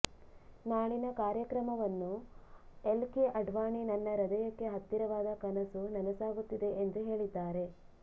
ನಾಳಿನ ಕಾರ್ಯಕ್ರಮವನ್ನು L K Advani ನನ್ನ ಹೃದಯಕ್ಕೆ ಹತ್ತಿರವಾದ ಕನಸು ನನಸಾಗುತ್ತಿದೆ ಎಂದು ಹೇಳಿದ್ದಾರೆ